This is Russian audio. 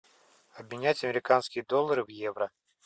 обменять американские доллары в евро